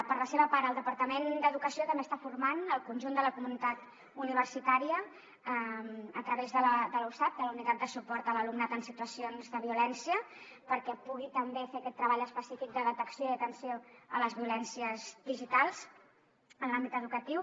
per la seva part el departament d’educació també està formant el conjunt de la comunitat universitària a través de la usav la unitat de suport a l’alumnat en situacions de violència perquè pugui també fer aquest treball específic de detecció i atenció a les violències digitals en l’àmbit educatiu